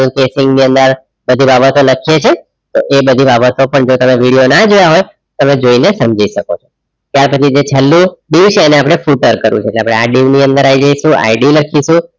પછી બાબતો લખીએ છીએ એ એ બધી બાબતો જો તમે video ના જોયા હોય તમે જોઈને સમજી શકો છો ત્યાર પછી જે છેલ્લું dieu છે એને આપણે future કરવુ છે એટલે આપણે આ video ની અંદર આવી જઈશુ ID લખીશું